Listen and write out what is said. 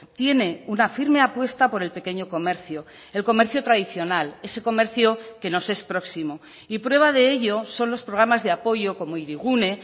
tiene una firme apuesta por el pequeño comercio el comercio tradicional ese comercio que nos es próximo y prueba de ello son los programas de apoyo como hirigune